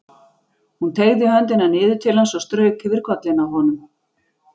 Hún teygði höndina niður til hans og strauk yfir kollinn á honum.